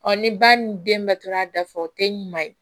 ni ba ni denbatora dafa o tɛ ɲuman ye